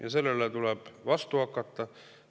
Ja sellele tuleb vastu hakata.